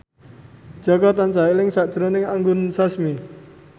Jaka tansah eling sakjroning Anggun Sasmi